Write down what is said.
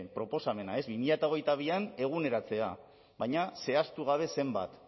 proposamena bi mila hogeita bian eguneratzea baina zehaztu gabe zenbat